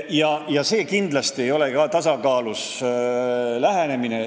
See ei ole kindlasti tasakaalus lähenemine.